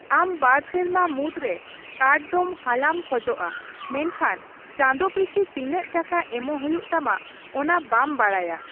ᱟᱢ ᱵᱟᱨ ᱥᱮᱨᱢᱟ ᱢᱩᱫᱽᱨᱮ ᱠᱟᱨᱰ ᱫᱚᱢ ᱦᱟᱞᱟᱢ ᱠᱷᱚᱡᱚᱜᱼᱟ, ᱢᱮᱱᱠᱷᱟᱱ ᱪᱟᱸᱫᱚ ᱯᱤᱪᱷᱤ ᱛᱤᱱᱟᱹᱜ ᱴᱟᱠᱟ ᱮᱢᱚᱜ ᱦᱩᱭᱩᱜ ᱛᱟᱢᱟ ᱚᱱᱟ ᱵᱟᱢ ᱵᱟᱰᱟᱭᱟ ᱾